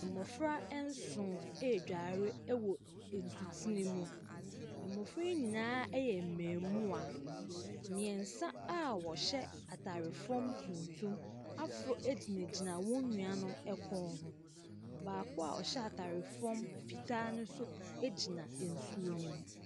Mmɔfra nson redware wɔ nsutene mu. Mmɔfra yi nyinaa yɛ mmarimaa. Mmeɛnsa a wɔhyɛ atadeɛ fam tuntum aforo gyingyina wɔn nuanom kɔn ho. Baako a ɔhyɛ atadeɛ fam fitaano nso gyina nsuo no mu.